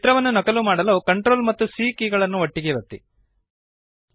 ಚಿತ್ರವನ್ನು ನಕಲು ಮಾಡಲು CTRL ಮತ್ತು C ಕೀಲಿಗಳನ್ನು ಒಟ್ಟಿಗೆ ಒತ್ತಿರಿ